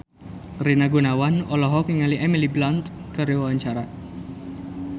Rina Gunawan olohok ningali Emily Blunt keur diwawancara